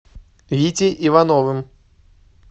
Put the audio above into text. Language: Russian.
витей ивановым